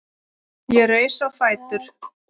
Ég reis á fætur.